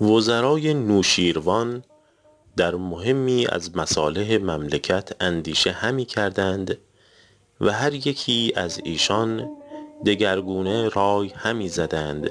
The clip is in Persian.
وزرای نوشیروان در مهمی از مصالح مملکت اندیشه همی کردند و هر یکی از ایشان دگرگونه رای همی زدند